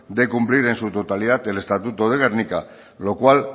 de cumplir en su totalidad el estatuto de gernika lo cual